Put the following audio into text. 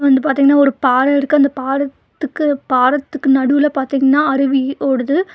வந்து பாத்தீங்கன்னா ஒரு பாறை இருக்கு அந்தப் பாறத்துக்கு பாறத்துக்கு நடுவுல பாத்தீங்கன்னா அருவி ஓடுது.